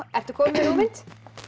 ertu komin með hugmynd